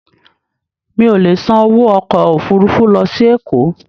Mi ò lè san owó ọkọ̀ Òfurufú lọ sí Èkó.